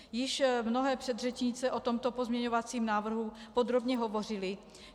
Již mnohé předřečnice o tomto pozměňovacím návrhu podrobně hovořily.